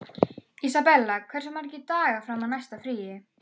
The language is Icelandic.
Isabella, hversu margir dagar fram að næsta fríi?